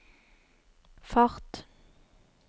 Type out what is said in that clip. fart